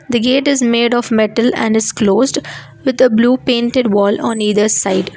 the gate is made of metal and is closed with the blue painted wall on either side.